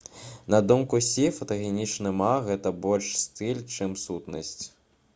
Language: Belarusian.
на думку сі фотагенічны ма гэта больш стыль чым сутнасць